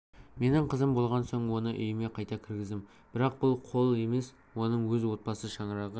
менің қызым болған соң оны үйіме қайта кіргіздім бірақ бұл қол емес оның өз отбасы шаңырағы